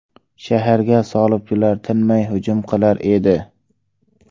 Shaharga salibchilar tinmay hujum qilar edi.